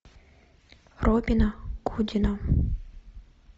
робина гудина